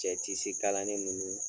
Cɛ kalanni nunnu.